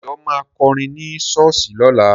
Dayọ̀ ma kọrin ní ṣọ́ọ̀ṣì lọ́la